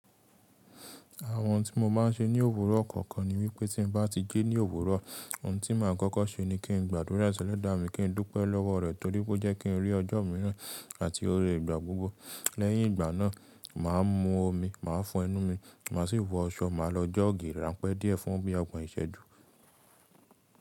Àwọn tí mo máa ń ṣe ní òwúrọ̀ ọ̀kọ̀ọ̀kan ni wípé tí n bá ti jí ní òwúrọ̀, ohun tí máa ń kọ́kọ́ ṣe ni kí n gbàdúrà si elẹ́dàa mi, kí n dúpẹ́ lọ́wọ́ rẹ̀ torí ó jẹ́ kí n rí ọjọ́ mìíràn àti ore ìgbà gbogbo. Lẹ́yìn ìgbà náà, màá mú omi, màá fọ ẹnu mi, màá sì wọ aṣọ, màá lo jog ran pẹ́ díẹ̀ fún bí ogbon ìṣẹ́ ju.